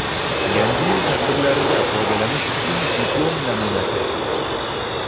Yangi yil tadbirlarida foydalanish uchun diplom namunasi.